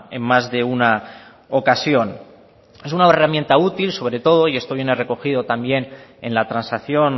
en más de una ocasión es una herramienta útil sobre todo y esto viene recogido también en la transacción